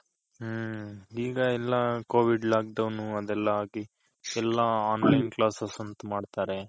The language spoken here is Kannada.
ಹ್ಮ್ಮ್ ಈಗ ಎಲ್ಲ Covid lock down ಅದೆಲ್ಲ ಆಗಿ ಎಲ್ಲ online classes ಅಂತ ಮಾಡ್ತಾರೆ.